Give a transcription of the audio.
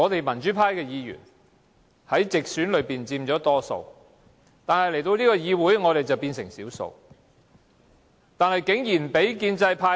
民主派議員佔直選議席大多數，但在這個議會，我們變成少數。